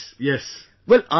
Yes... Yes